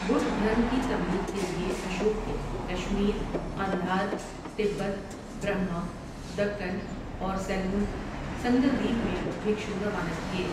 بدھ دھرم کی تبلیغ کے لیے اشوک نے کشمیر، قندھار، تبت، برہما، دکن اور سیلون سنگلدیپ میں بھکشو روانہ کیے۔